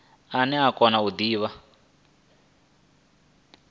ane a kona u divha